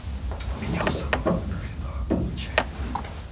у меня у самого он хреново получается